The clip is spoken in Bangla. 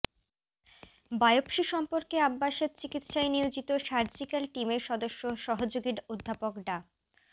বায়োপসি সম্পর্কে আব্বাসের চিকিৎসায় নিয়োজিত সার্জিক্যাল টিমের সদস্য সহযোগী অধ্যাপক ডা